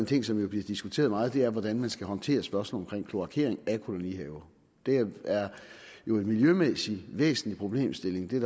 ting som jo bliver diskuteret meget og det er hvordan man skal håndtere spørgsmålet omkring kloakering af kolonihaver det er jo en miljømæssigt væsentlig problemstilling det